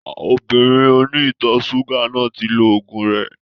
Obìnrin oní ìtọ̀ ṣúgà náà ti lo ògùn rẹ